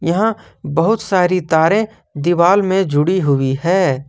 यहां बहुत सारी तारें दीवार में जुड़ी हुई है।